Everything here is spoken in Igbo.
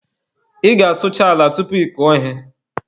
Ị ga-asụcha ala tupu ị kọọ ihe.